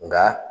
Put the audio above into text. Nka